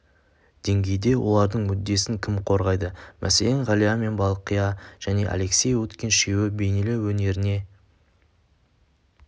деңгейде олардың мүддесін кім қорғайды мәселен ғалия мен балқия және алексей уткин үшеуі бейнелеу өнеріне